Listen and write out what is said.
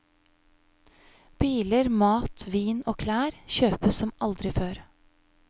Biler, mat, vin og klær kjøpes som aldri før.